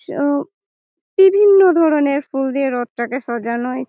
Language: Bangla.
সব বিভিন্ন ধরনরে ফুল দিয়ে রথ টাকে সাজানোয় ।